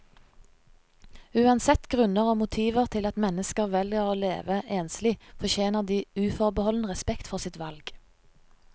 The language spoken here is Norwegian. Uansett grunner og motiver til at mennesker velger å leve enslig, fortjener de uforbeholden respekt for sitt valg.